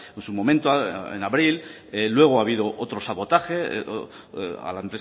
en su momento en abril luego ha habido otro sabotaje a la